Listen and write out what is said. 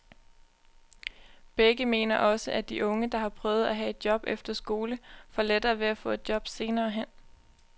Begge mener også, at de unge, der har prøvet at have et job efter skole, får lettere ved at få et job senere hen.